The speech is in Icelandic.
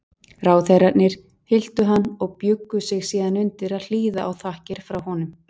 Ráðherrarnir hylltu hann og bjuggu sig síðan undir að hlýða á þakkir frá honum.